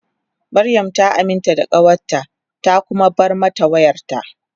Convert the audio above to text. Mariam ta aminta da kawarta ta kuma bar mata wayarta.